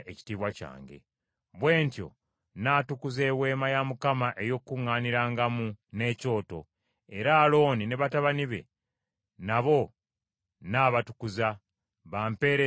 “Bwe ntyo nnaatukuza Eweema ey’Okukuŋŋaanirangamu n’ekyoto, era Alooni ne batabani be nabo nnaabatukuza, bampeereze nga bakabona.